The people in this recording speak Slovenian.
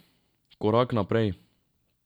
Korak naprej.